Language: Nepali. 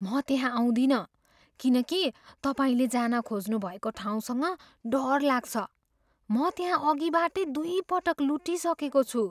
म त्यहाँ आउँदिनँ किनकि तपाईँले जान खोज्नुभएको ठाउँसँग डर लाग्छ। म त्यहाँ अघिबाटै दुइपटक लुटिइसकेको छु।